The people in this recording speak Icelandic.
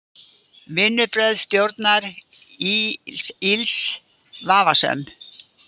Vinnubrögð stjórnar ÍLS vafasöm